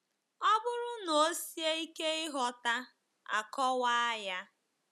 Ọ bụrụ na ọ sie ike ighọta, a kọwaa ya.